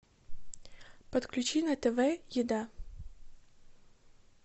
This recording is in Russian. подключи на тв еда